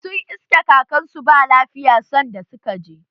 Sun iske kakar su ba lafiya sanda suka je